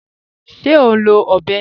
Ṣé o n lọ ọ̀bẹ̀?